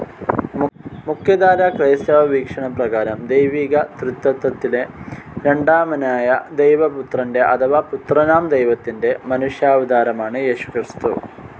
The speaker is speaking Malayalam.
മുഖ്യധാരാ ക്രൈസ്തവ വീക്ഷണ പ്രകാരം ദൈവീക ത്രിത്വത്തിലെ രണ്ടാമനായ ദൈവപുത്രൻ്റെ അഥവാ പുത്രനാം ദൈവത്തിൻ്റെ മനുഷ്യാവതാരമാണ് യേശുക്രിസ്തു.